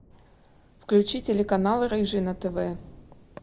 включи телеканал рыжий на тв